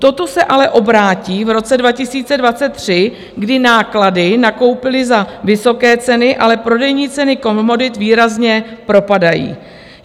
Toto se ale obrátí v roce 2023, kdy náklady nakoupili za vysoké ceny, ale prodejní ceny komodit výrazně propadají.